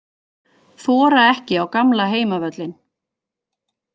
Þora ekki á gamla heimavöllinn